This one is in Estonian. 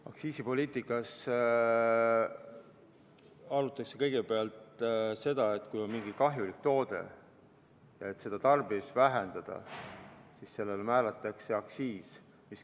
Aktsiisipoliitikas kaalutakse kõigepealt seda, et kui on mingi kahjulik toode ja tahetakse selle tarbimist vähendada, siis sellele määratakse aktsiis .